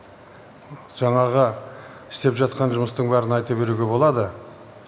жаңағы істеп жатқан жұмыстың бәрін айта беруге болады